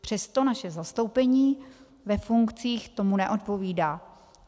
Přesto naše zastoupení ve funkcích tomu neodpovídá.